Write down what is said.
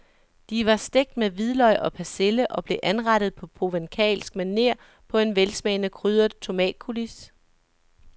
De var stegt med hvidløg og persille og blev anrettet på provencalsk maner på en velsmagende krydret tomatcoulis.